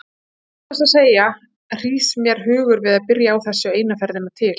Satt best að segja hrýs mér hugur við að byrja á þessu eina ferðina til.